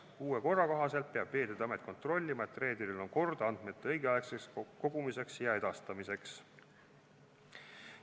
Uue korra kohaselt peab Veeteede Amet kontrollima, et reederil on kord andmete õigeaegseks kogumiseks ja edastamiseks.